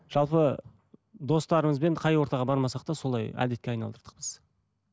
жалпы достарымызбен қай ортаға бармасақ та солай әдетке айналдырдық біз